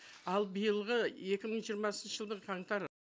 ал биылғы екі мың жиырмасыншы жылдың қаңтар